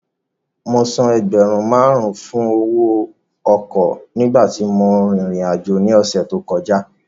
Mo san ẹgbẹ̀rún márùn-ún fún owó ọkọ̀ nígbà tí mò ń rìnrìn àjò ní ọ̀sẹ̀ tí ó kọjá